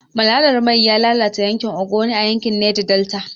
Malalar mai ya lalata yankin Ogoni a yankin Neja Delta.